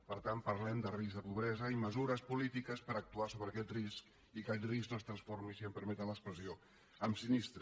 per tant parlem de risc de pobresa i mesures polítiques per actuar sobre aquest risc i que el risc no es transformi si em permeten l’expressió en sinistre